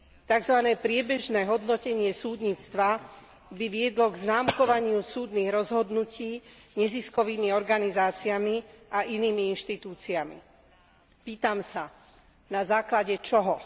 Tzv. priebežné hodnotenie súdnictva by viedlo k známkovaniu súdnych rozhodnutí neziskovými organizáciami a inými inštitúciami. Pýtam sa, na základe čoho?